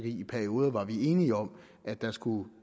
i perioder var enige om at man skulle